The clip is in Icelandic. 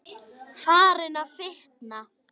Farin að fitna.